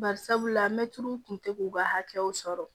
Bari sabula mɛtiriw tun tɛ k'u ka hakɛw sɔrɔ